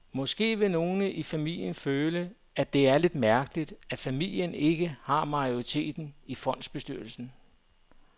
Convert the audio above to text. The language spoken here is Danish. Måske vil nogle i familien føle, at det er lidt mærkeligt, at familien ikke har majoriteten i fondsbestyrelsen.